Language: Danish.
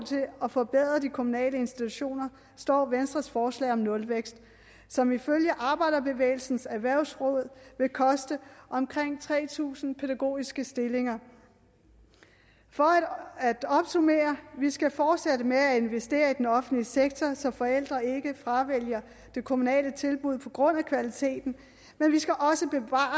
at forbedre de kommunale institutioner står venstres forslag om nulvækst som ifølge arbejderbevægelsens erhvervsråd vil koste omkring tre tusind pædagogiske stillinger for at opsummere at vi skal fortsætte med at investere i den offentlige sektor så forældre ikke fravælger det kommunale tilbud på grund af kvaliteten men vi skal også bevare